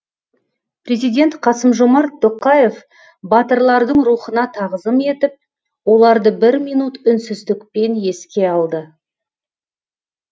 президент қасым жомарт тоқаев батырлардың рухына тағзым етіп оларды бір минут үнсіздікпен еске алды